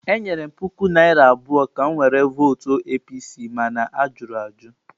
Enyere m puku naira abụọ ka m were votụ APC, mana a jụrụ ajụ.